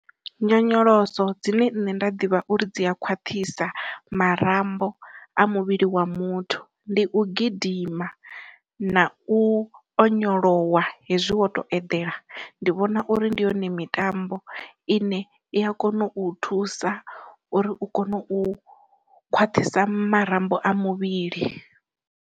Nyonyoloso dzine nṋe nda ḓivha uri dzi a khwaṱhisa marambo a muvhili wa muthu ndi u gidima, na u onyolowa hezwi wo to eḓela, ndi vhona uri ndi yone mitambo ine i a kona u thusa uri u kone u khwaṱhisa marambo a muvhili.